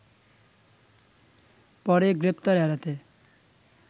পরে গ্রেপ্তার এড়াতে